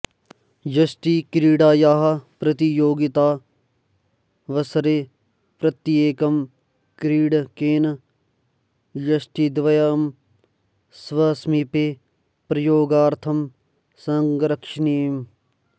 यष्टिक्रीडायाः प्रतियोगितावसरे प्रत्येकं क्रीडकेन यष्टिद्वयं स्वसमीपे प्रयोगार्थं संरक्षणीयम्